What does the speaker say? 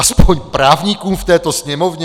Aspoň právníkům v této Sněmovně?